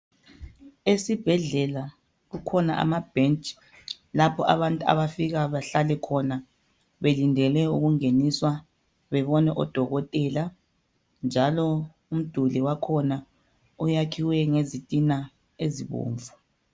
Esibhedlela kukhona amabhentshi lapho abantu abafika bahlale khona belindele ukungeniswa bebone udokotela njalo umduli wakhona uwakhiwe ngezintina ezibomvu.